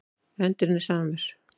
Endirinn er samur.